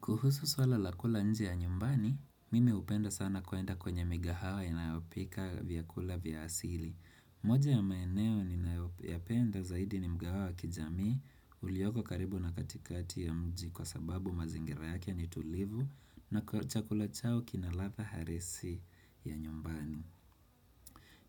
Kuhusu swala la kula nje ya nyumbani, mimi hupenda sana kwenda kwenye mikahawa inayopika vyakula vya asili. Moja ya maeneo ninayoyapenda zaidi ni mkahawa wabkijamii, ulioko karibu na katikati ya mji kwa sababu mazingira yake ni tulivu na kwa chakula chao kinaladha harisi ya nyumbani.